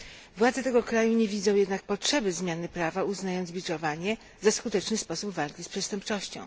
Władze tego kraju nie widzą jednak potrzeby zmiany prawa, uznając biczowanie za skuteczny sposób walki z przestępczością.